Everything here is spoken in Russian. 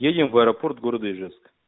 едем в аэропорт города ижевск